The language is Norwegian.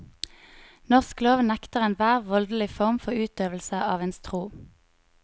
Norsk lov nekter enhver voldelig form for utøvelse av ens tro.